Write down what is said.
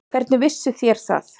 Hvernig vissuð þér það?